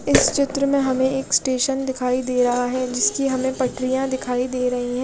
इस चित्र में हमे एक स्टेशन दिखाई दे रहा है जिसकी हमे पटरिया दिखाई दे रही है।